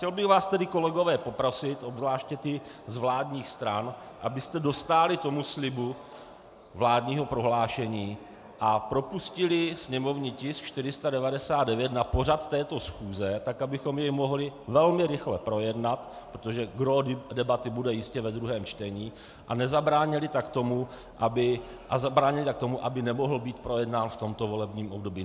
Chtěl bych vás tedy, kolegové, poprosit, obzvláště ty z vládních stran, abyste dostáli tomu slibu vládního prohlášení a propustili sněmovní tisk 499 na pořad této schůze tak, abychom jej mohli velmi rychle projednat, protože gró debaty bude jistě ve druhém čtení a zabránili tak tomu, aby nemohl být projednán v tomto volebním období.